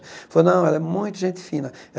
Ela falou, não, ela é muito gente fina.